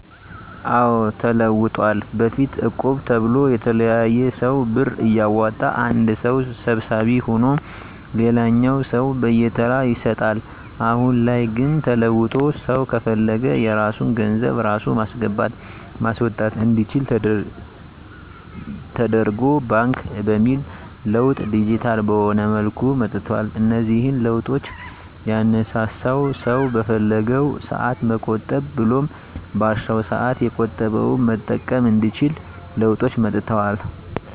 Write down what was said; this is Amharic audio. አዎ ተለውጠዋል በፊት እቁብ ተብሎ የተለያየ ሰው ብር እያዋጣ አንድ ሰው ሰብሳቢ ሁኖ ለሌላኛው ሰው በየተራ ይሰጣል። አሁን ላይ ግን ተለውጦ ሰው ከፈለገ የራሱን ገንዘብ ራሱ ማስገባት ማስወጣት አንዲችል ደተርጎ ባንክ በሚል ለውጥ ዲጂታል በሆነ መልኩ መጥቷል። እነዚህን ለውጦች ያነሳሳው ሰው በፈለገው ሰአት መቆጠብ ብሎም ባሻው ሰአት የቆጠበውን መጠቀም እንዲችል ለውጦች መጥተዋል።